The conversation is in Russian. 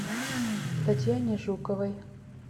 татьяне жуковой